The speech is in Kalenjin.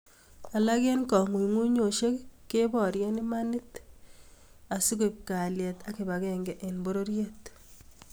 Alak eng kangungunyosiek keborie imanit kekon asikoib kalyet ak kibagenge eng pororiet